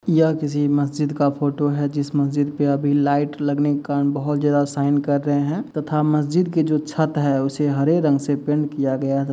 यह किसी मस्जिद का फोटो है जिस मस्जिद पे अभी लाइट लगने के कारण बहुत ज्यादा शाइन कर रहे हैं तथा मस्जिद के जो छत है उसे हरे रंग से पेंट किया --